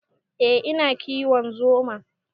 Eh, ina kiwon zuma.